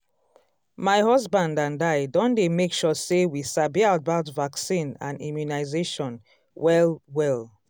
my husband and i don dey make sure say we sabi about vaccine and immunization well-well.